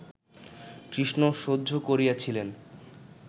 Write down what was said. কৃষ্ণ সহ্য করিয়াছিলেন